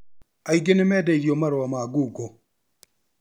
Aingĩ nĩmendeirio marũa ma ngungo